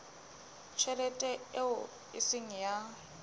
tjhelete eo e seng ya